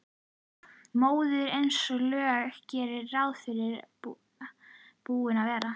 Móðirin eins og lög gerðu ráð fyrir búin að vera.